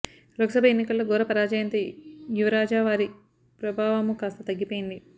లోక్ సభ ఎన్నికల్లో ఘోర పరాజయంతో యువరాజా వారి ప్రాభవమూ కాస్త తగ్గిపోయింది